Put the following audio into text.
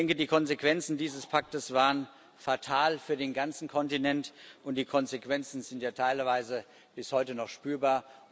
Ich denke, die Konsequenzen dieses Paktes waren für den ganzen Kontinent fatal und sind ja teilweise bis heute noch spürbar.